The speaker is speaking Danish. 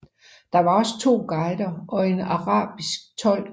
Der var også to guider og en arabisk tolk